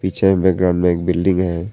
पिछे में ग्राउंड में एक बिल्डिंग है।